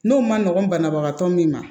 N'o ma nɔgɔn banabagatɔ min ma